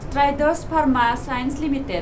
Strides Pharma Science limited